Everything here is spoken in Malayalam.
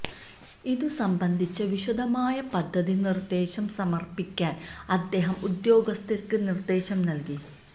ഇതു സംബന്ധിച്ച വിശദമായ പദ്ധതി നിര്ദ്ദേശം സമര്പ്പിക്കാന് അദ്ദേഹം ഉദ്യോഗസ്ഥര്ക്ക് നിര്ദ്ദേശം നല്കി